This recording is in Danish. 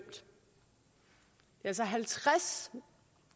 altså halvtreds